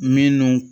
Minnu